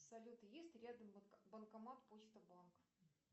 салют есть рядом банкомат почта банк